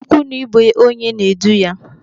Ikwu na ibe onye na-edu ya.